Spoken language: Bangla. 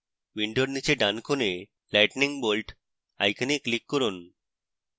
window নীচে ডান corner lightning bolt icon click করুন